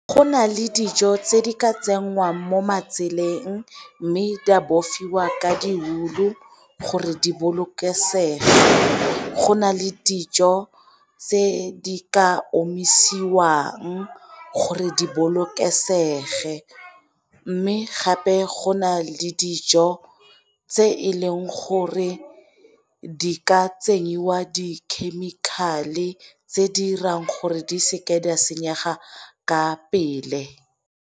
Go na le dijo tse di ka tsenngwang mo matseleng mme di a bofiwa ka di-wool-u gore di bolokesege, go na le dijo tse di ka omisiwang gore di bolokesege. Mme gape go na le dijo tse e leng gore di ka tsenyiwa di-chemical-e tse di 'irang gore di seke di a senyega ka pele.